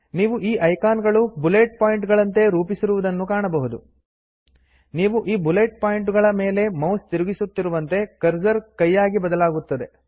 ನೀವು ಈ ಐಕಾನ್ ಗಳು ಬುಲೆಟ್ ಪಾಯಿಂಟ್ ಗಳಂತೆ ರೂಪಿಸಿರುವುದನ್ನು ಕಾಣಬಹುದು ನೀವು ಈ ಬುಲೆಟ್ ಪಾಯಿಂಟುಗಳ ಮೇಲೆ ಮೌಸ್ ತಿರುಗಿಸುತ್ತಿರುವಂತೆ ಕರ್ಜರ್ ಕೈಯಾಗಿ ಬದಲಾಗುತ್ತದೆ